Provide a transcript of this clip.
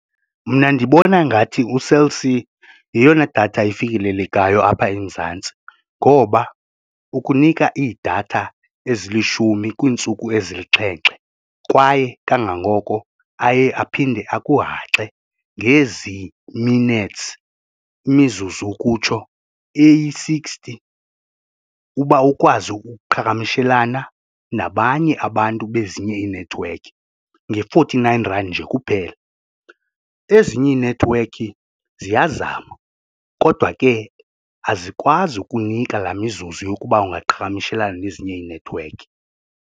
Mna ndibona ngathi uCell C yeyona datha ifikelelekayo apha eMzantsi ngoba ukunika iidatha ezilishumi kwiintsuku ezilixhenxe kwaye kangangoko aye aphinde akuhaxe ngezi minutes imizuzu ukutsho eyi-sixty uba ukwazi ukuqhagamshelana nabanye abantu bezinye inethiwekhi nge-forty nine rand nje kuphela. Ezinye iinethiwekhi ziyazama kodwa ke azikwazi ukunika laa mizuzu yokuba ungaqhagamshelana nezinye inethiwekhi.